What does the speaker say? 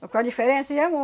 Mas qual a diferença, e é